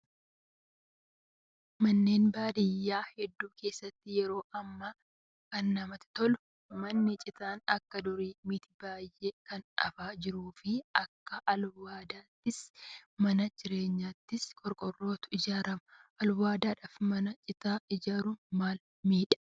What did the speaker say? Manneen baadiyyaa hedduu keessatti yeroo ammaa kan namatti tolu manni citaa akka durii miti baay'een kan hafaa jiruu fi akka alwaadaattis mana jireenyaattis qorqoorrootu ijaarama. Alwaadaadhaaf mana citaa ijaaruun maal miidhaa?